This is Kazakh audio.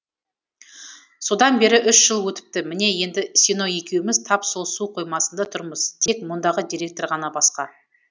содан бері үш жыл өтіпті міне енді сино екеуміз тап сол су қоймасында тұрмыз тек мұндағы директор ғана басқа